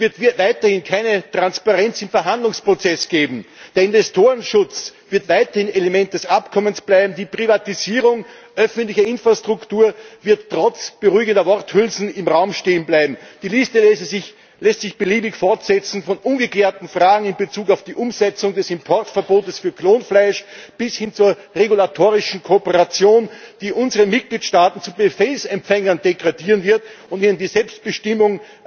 Es wird weiterhin keine Transparenz im Verhandlungsprozess geben, der Investorenschutz wird weiterhin Element des Abkommens bleiben, die Privatisierung öffentlicher Infrastruktur wird trotz beruhigender Worthülsen im Raum stehen bleiben. Die Liste lässt sich beliebig fortsetzen, von ungeklärten Fragen in Bezug auf die Umsetzung des Importverbots für Klonfleisch bis hin zur regulatorischen Kooperation, die unsere Mitgliedstaaten zu Befehlsempfängern degradieren wird und ihnen die Selbstbestimmung